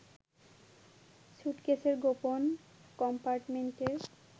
সুটকেসের গোপন কম্পার্টমেন্টে